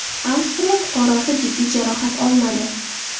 Avstriya fuqarosi jiddiy jarohat olmadi.